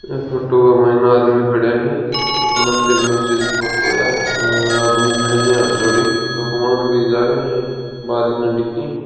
यह फोटो माईन आदमी खड़िया है मंदिर-मस्जिद की फोटू है आ और आदमी खड्या है हाथ जोड़ है --